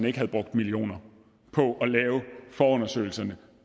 ikke havde brugt millioner på at lave forundersøgelserne